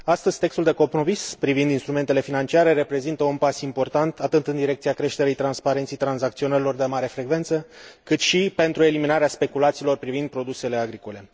Astăzi, textul de compromis privind instrumentele financiare reprezintă un pas important atât în direcția creșterii transparenței tranzacționărilor de mare frecvență, cât și pentru eliminarea speculațiilor privind produsele agricole.